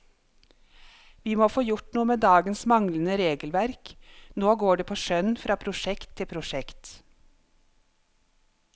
Vi må få gjort noe med dagens manglende regelverk, nå går det på skjønn fra prosjekt til prosjekt.